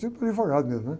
Típico de advogado mesmo, né?